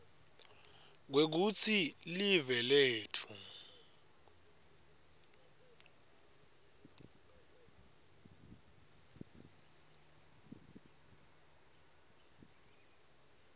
kwekutsi live letfu